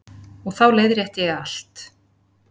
Og þá leiðrétti ég allt.